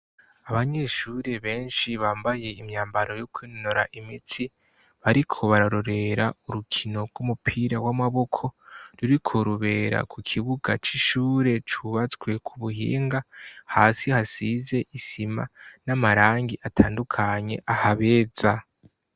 Abanyeshuri benshi bambaye imyambaro yo kwinonora imitsi bariko bararorera urukino rw'umupira w'amaboko ruriko rubera ku kibuga c'ishure cubatswe ku buhinga ,hasi hasize isima n'amarangi atandukanye ahabeza.